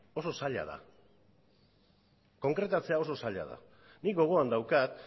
oso zaila da konkretatzea oso zaila da nik gogoan daukat